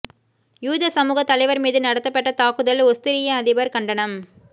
யூத சமூகத் தலைவர் மீது நடத்தப்பட்ட தாக்குதல் ஒஸ்திரிய அதிபர் கண்டனம்